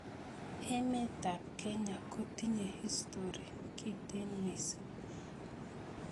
emeetab kenya kotinye historii kintee misiing